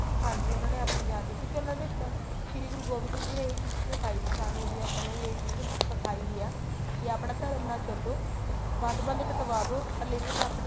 ਹਾਂਜੀ ਉਹਨਾ ਨੇ ਆਪਣੀ ਜਾਨ ਦੇ ਦਿੱਤੀ ਕਿਉਂਕਿ ਉਹਨਾ ਦੇ ਸ਼੍ਰੀ ਗੁਰੂ ਗੋਬਿੰਦ ਸਿੰਘ ਜੀ ਨੇ ਇਹੀ ਚੀਜ਼ ਸਿਖਾਈ ਸੀ ਸਾਨੂੰ ਵੀ ਆਪਾਂ ਨੂੰ ਇਹੀ ਚੀਜ਼ ਸਿਖਾਈ ਵੀ ਆ ਕੀ ਆਪਣਾ ਧਰਮ ਨਾ ਛੱਡੋ ਬੰਦ ਬੰਦ ਕਟਾਦੋ ਪਰ ਲੇਕਿਨ ਆਪਣਾ